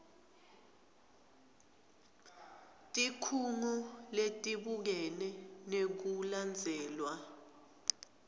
tikhungo letibukene nekulandzelwa